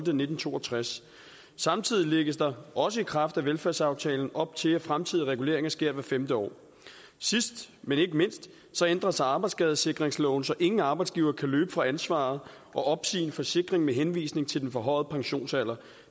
nitten to og tres samtidig lægges der også i kraft velfærdsaftalen op til at fremtidige reguleringer sker hvert femte år sidst men ikke mindst ændres arbejdsskadesikringsloven så ingen arbejdsgivere kan løbe fra ansvaret og opsige en forsikring med henvisning til den forhøjede pensionsalder